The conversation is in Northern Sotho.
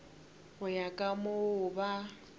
go ya ka moo ba